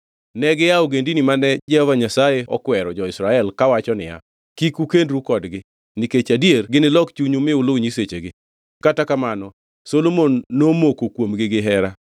Negia e ogendini mane Jehova Nyasaye okwero jo-Israel kawacho niya, “Kik ukendru kodgi, nikech adier ginilok chunyu ma uluw nyisechegi.” Kata kamano, Solomon nomoko kuomgi gihera.